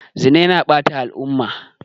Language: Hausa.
Zina yana ɓata al'umma.